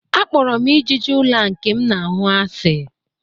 Akpọrọ m ijiji ụlọ a nke m na-ahụ asị